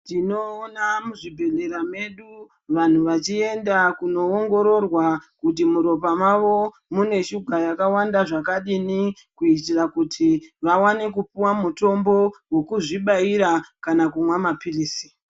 Tinobonga muzvibhedhlera medu vanhu vachienda kunoongororwa, kuti muropa mavo, mune shuga yakawanda zvakadini, kuitira kuti vawane kupuwa mutombo wokuzvibaira, kana kumwa maphirizi.